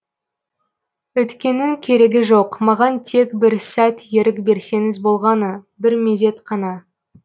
өткеннің керегі жоқ маған тек бір сәт ерік берсеңіз болғаны бір мезет қана